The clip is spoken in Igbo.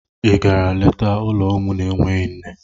I gara leta ụlọ ụmụ na-enweghị nne?